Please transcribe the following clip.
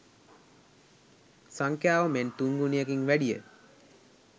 සංඛ්‍යාව මෙන් තුන් ගුණයකින් වැඩිය.